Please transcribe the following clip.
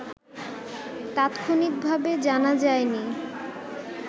তাৎক্ষণিকভাবে জানা যায়নি